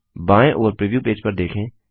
बाएं ओर preview page पर देखें